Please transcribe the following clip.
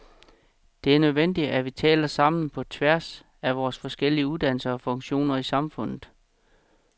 Det er nødvendigt, at vi taler sammen på tværs af vore forskellige uddannelser og funktioner i samfundet.